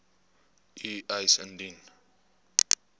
u eis indien